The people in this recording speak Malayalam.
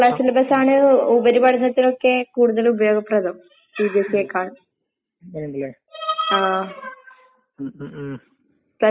അത് ബെയ്യെ വൈയിയാണതിന്റെപ്പറ്റി നമക്ക് മനസ്സിലാക് ങേ മനസ്സിലാകാന്ണ്ടല്. ഇപ്പെന്റെന്നെയൊരിത് ഞാൻ പറയാകാണെങ്കി ഞാൻ പ്ലസ് ടു കഴിഞ്ഞിട്ട് ഡിഗ്രിക്ക് പോയതാ